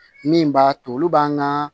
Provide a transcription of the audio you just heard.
Min b'a to olu b'an ka